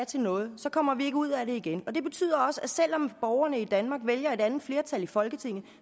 til noget kommer vi ikke ud af det igen og det betyder også at selv om borgerne i danmark vælger et andet flertal i folketinget